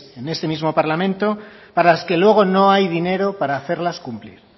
en este mismo parlamento para las que luego no hay dinero para hacerlas cumplir